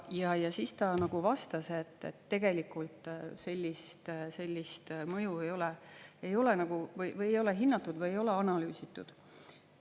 Ja siis ta vastas, et tegelikult sellist mõju ei ole hinnatud või ei ole analüüsitud.